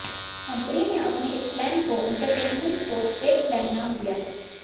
company ने अपने इस प्लान को एंटरटेनमेंट पोस्टपेड प्लान नाम दिया है